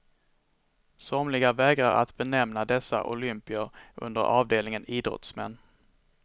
Somliga vägrar att benämna dessa olympier under avdelningen idrottsmän.